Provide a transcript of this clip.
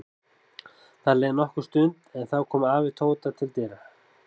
Það leið nokkur stund en þá kom afi Tóta til dyra.